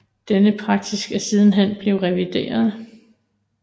Denne praksis er sidenhen blevet revideret